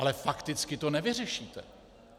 Ale fakticky to nevyřešíte.